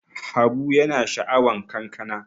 Habu yana sha'awan kankana.